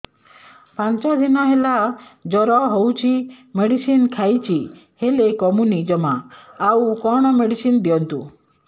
ପାଞ୍ଚ ଦିନ ହେଲା ଜର ହଉଛି ମେଡିସିନ ଖାଇଛି ହେଲେ କମୁନି ଜମା ଆଉ କଣ ମେଡ଼ିସିନ ଦିଅନ୍ତୁ